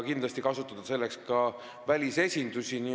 Kindlasti saab kasutada ka välisesinduste abi.